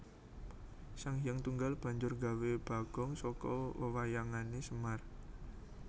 Sanghyang Tunggal banjur gawé bagong saka wewayangané Semar